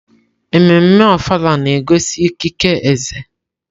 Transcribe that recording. Ememme Ofala na-egosi ikike eze.